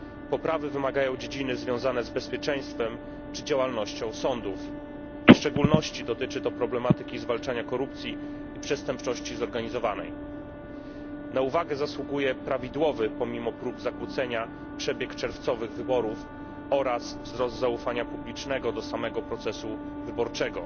Poprawy wymagają dziedziny związane z bezpieczeństwem i działalnością sądów, w szczególności dotyczy to zwalczania korupcji i przestępczości zorganizowanej. Na uwagę zasługuje prawidłowy, pomimo prób zakłócenia, przebieg czerwcowych wyborów oraz wzrost zaufania publicznego do samego procesu wyborczego.